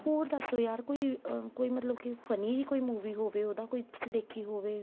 ਹੋਰ ਦੱਸੋ ਯਾਰ ਕੋਈ ਕੋਈ ਮਤਲਬ ਕੀ funny ਵੀ ਕੋਈ movie ਹੋਵੇ ਉਹਦਾ ਕੋਈ ਦੇਖੀ ਹੋਵੇ